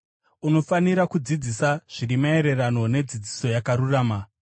Unofanira kudzidzisa zviri maererano nedzidziso yakarurama.